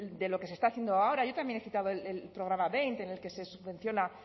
de lo que se está haciendo ahora yo también he citado el programa en el que se subvenciona